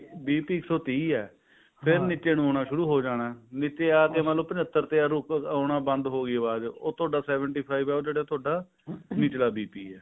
ਬੀਹ ਤੇ ਇੱਕ ਸੋ ਤੀਹ ਹੈ ਆਉਣਾ ਸ਼ੁਰੂ ਹੋ ਜਾਣਾ ਨੀਚੇ ਆ ਕੇ ਮੰਨ ਲੋ ਪ੍ਚਤਰ ਤੇ ਆਉਣਾ ਬੰਦ ਹੋਗੀ ਆਵਾਜ ਉਹ ਥੋਡਾ seventy five ਹੈ ਉਹ ਜਿਹੜਾ ਥੋਡਾ ਨਿਚਲਾ BP